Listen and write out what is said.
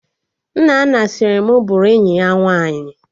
Nnanna sịrị bụ bụrụ enyi ya nwaanyị